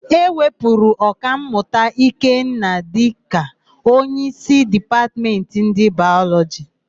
E wepụrụ Ọkammụta Ikenna dịka onyeísí Dipatmentị ndị Bayọlọjị.